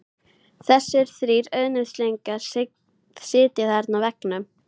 Þessir þrír auðnuleysingjar sitja þarna á veggnum.